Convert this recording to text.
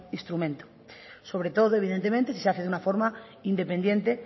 instrumento sobre todo evidentemente si se hace de una forma independiente